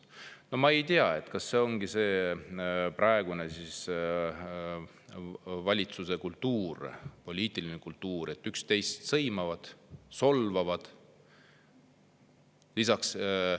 " No ma ei tea, kas selline ongi siis praeguse valitsuse poliitiline kultuur, et üksteist sõimatakse ja solvatakse?